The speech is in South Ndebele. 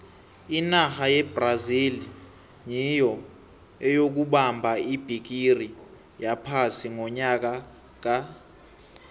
inarha yebrazil nyiyo eyokubamba ibhigiri yephasi ngonyaka ka